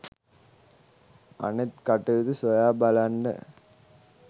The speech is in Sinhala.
අනෙත් කටයුතු සොයා බලන්ඩ